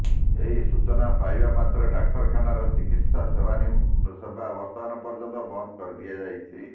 ଏହି ସୂଚନା ପାଇବା ମାତ୍ରେ ଡାକ୍ତରଖାନାର ଚିକିତ୍ସା ସେବା ବର୍ତ୍ତମାନ ପର୍ଯ୍ୟନ୍ତ ବନ୍ଦ କରିଦିଆଯାଇଛି